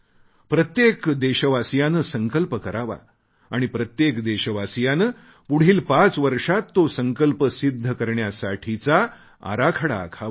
प्रत्येक देशवासीयाने संकल्प करावा आणि प्रत्येक देशवासीयाने पुढील पाच वर्षांत तो संकल्प सिद्ध करण्यासाठीचा आराखडा आखावा